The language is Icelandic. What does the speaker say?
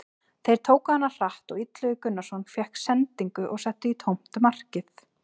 Þeir tóku hana hratt og Illugi Gunnarsson fékk sendingu og setti í tómt markið.